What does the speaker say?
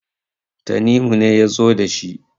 tanimu ne ya zo da shi